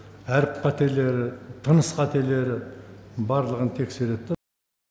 әріп қателері тыныс қателері барлығын тексереді да